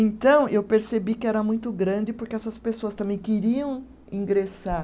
Então, eu percebi que era muito grande, porque essas pessoas também queriam ingressar